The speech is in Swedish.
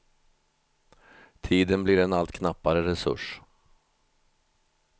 Tiden blir en allt knappare resurs.